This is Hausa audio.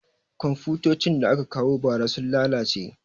Komfutocin da aka kawo ba ra sun lalace